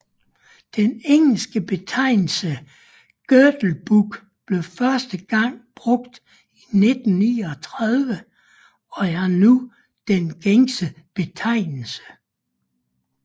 Den engelske betegnelse girdle book blev første gang brugt i 1939 og er nu den gængse betegnelse